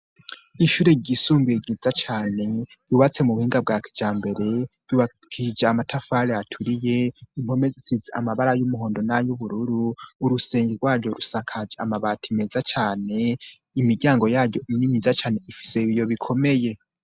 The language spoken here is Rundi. Ishure ryisumbuye ryiza cane ryubatse mu buhinga bwa kijambere ryubakishije amatafari aturiye, impome zisize amabara y'umuhondo n'ay'ubururu, urusenge rwaryo rusakaje amabati meza cane, imiryango yayo ni myiza cane ifise ibiyo bikomeye.